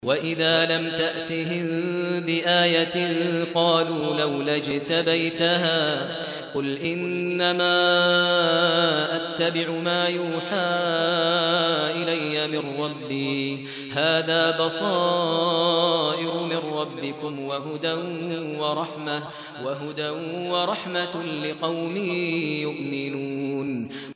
وَإِذَا لَمْ تَأْتِهِم بِآيَةٍ قَالُوا لَوْلَا اجْتَبَيْتَهَا ۚ قُلْ إِنَّمَا أَتَّبِعُ مَا يُوحَىٰ إِلَيَّ مِن رَّبِّي ۚ هَٰذَا بَصَائِرُ مِن رَّبِّكُمْ وَهُدًى وَرَحْمَةٌ لِّقَوْمٍ يُؤْمِنُونَ